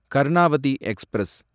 Karnavati express